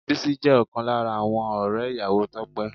Bísí jẹ́ ọ̀kan lára àwọn ọ̀rẹ́ ìyàwó Tope